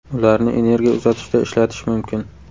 Ularni energiya uzatishda ishlatish mumkin.